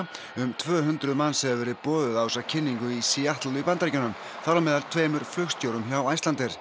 um tvö hundruð manns hefur verið boðið á þessa kynningu í Seattle í Bandaríkjunum þar á meðal tveimur flugstjórum hjá Icelandair